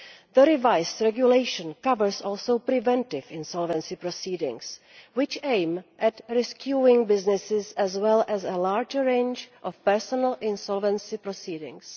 The revised regulation covers also preventive insolvency proceedings, which aim at rescuing businesses, as well as a larger range of personal insolvency proceedings.